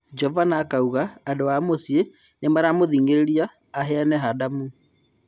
Jovana akauga andũ a mũcĩĩ Nĩmaaramũthĩng'a aheane Hadamu.